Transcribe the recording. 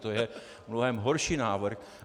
To je mnohem horší návrh.